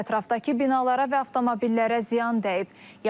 Ətrafdakı binalara və avtomobillərə ziyan dəyib.